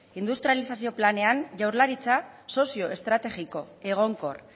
industrializazio planean jaurlaritza sozio estrategiko egonkor